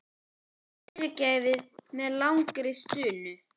Honum er fyrirgefið með langri stunu.